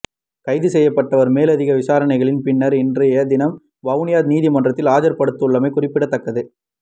கைதுசெய்யப்பட்டவர் மேலதிக விசாரணைகளின் பின்னர் இன்றைய தினம் வவுனியா நீதிமன்றில் ஆஜர்படுத்தபடவுள்ளமை குறிப்பிடத்தக்கது